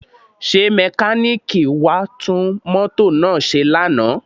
Ṣé mẹkáníìkì wá tún mọ́tò náà ṣe lánàá?